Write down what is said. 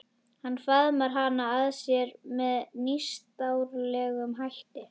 Hann faðmar hana að sér með nýstárlegum hætti.